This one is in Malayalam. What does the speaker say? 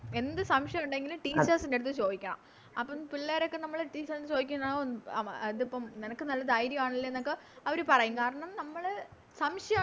എന്ത് സംശയം ഒണ്ടെങ്കിലും Teachers ൻറെടുത്ത് ചോയിക്കണം അപ്പൊ പിള്ളേരൊക്കെ നമ്മള് Teachers ൻറെടുത്ത് ചോയിക്കുന്നെ ഓ അവ എന്തിപ്പോ നിനക്ക് നല്ല ധൈര്യനല്ലെന്നൊക്കെ അവര് പറയും കാരണം നമ്മള് സംശയ